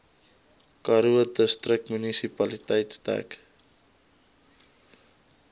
karoo distriksmunisipaliteit dek